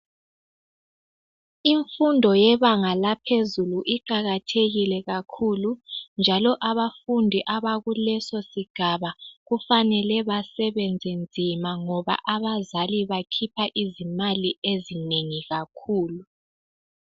Imfundo yebanga laphezulu iqakathekile kakhulu njalo abafundi abalesosigaba kufanele basebenze nzima ngoba abazali bakhipha izimali ezinengi kakhulu.